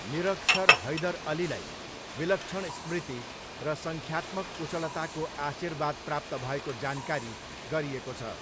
निरक्षर हैदर अलीलाई, विलक्षण स्मृति र सङ्ख्यात्मक कुशलताको आशीर्वाद प्राप्त भएको जानकारी गरिएको छ।